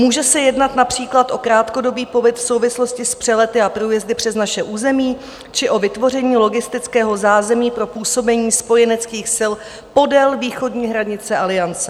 Může se jednat například o krátkodobý pobyt v souvislosti s přelety a průjezdy přes naše území či o vytvoření logistického zázemí pro působení spojeneckých sil podél východní hranice Aliance.